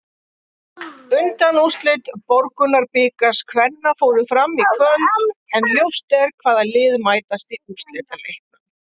Undanúrslit Borgunarbikars kvenna fóru fram í kvöld, en ljóst er hvaða lið mætast í úrslitaleiknum.